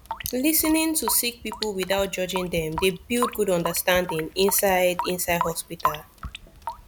lis ten ing to sick pipul witout judging dem dey build good understanding inside inside hosptital